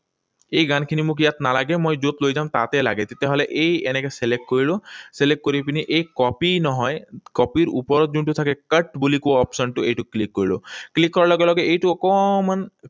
এই গানখিনি মোক ইয়াত নালাগে। মই যত লৈ যাম তাতে লাগে। তেতিয়াহলে এই এনেকৈ select কৰিলো। Select কৰি পিনি এই copy নহয়, copy ৰ ওপৰত যোনটো থাকে, cut বুলি কোৱা option টো, এইটো click কৰিলো। Click কৰাৰ লগে লগে এইটো অকণমান